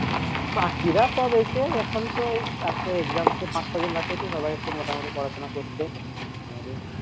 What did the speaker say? বাকিরা সব এসে এখন তো এই আর তো exam হতে পাঁচ ছদিন বাকি আছে সবাই একটু মোটামুটি পড়াশোনা করছে নইলে